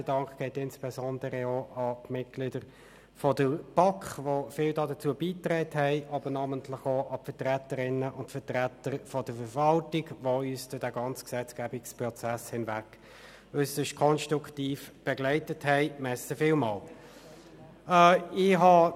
Der Dank geht insbesondere auch an die Mitglieder der BaK, die viel dazu beigetragen haben, aber namentlich auch an die Vertreterinnen und Vertreter der Verwaltung, die uns durch den gesamten Gesetzgebungsprozess hinweg äusserst konstruktiv begleitet haben.